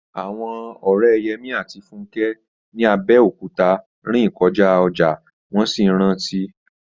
Àwọn ọ̀rẹ́ Yẹmí àti Fúnkẹ́ ní Abẹ́òkúta rìn kọjá ọjà, wọ́n sì ń rántí